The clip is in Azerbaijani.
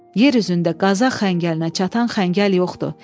Yer üzündə qaza xəngəlinə çatan xəngəl yoxdur.